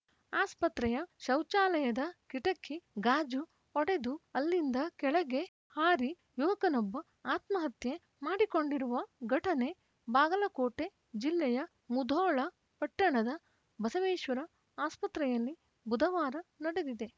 ಆಸ್ಪತ್ರೆಯ ಶೌಚಾಲಯದ ಕಿಟಕಿ ಗಾಜು ಒಡೆದು ಅಲ್ಲಿಂದ ಕೆಳಗೆ ಹಾರಿ ಯುವಕನೊಬ್ಬ ಆತ್ಮಹತ್ಯೆ ಮಾಡಿಕೊಂಡಿರುವ ಘಟನೆ ಬಾಗಲಕೋಟೆ ಜಿಲ್ಲೆಯ ಮುಧೋಳ ಪಟ್ಟಣದ ಬಸವೇಶ್ವರ ಆಸ್ಪತ್ರೆಯಲ್ಲಿ ಬುಧವಾರ ನಡೆದಿದೆ